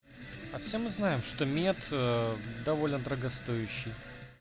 а все мы знаем что мет довольно дорогостоящий